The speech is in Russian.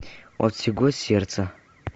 от всего сердца